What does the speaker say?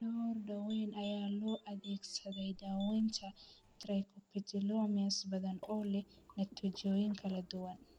Dhowr daawayn ayaa loo adeegsaday daawaynta trichoepitheliomas badan, oo leh natiijooyin kala duwan.